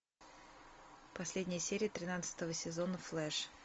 последняя серия тринадцатого сезона флэш